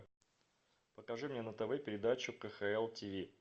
покажи мне на тв передачу кхл тиви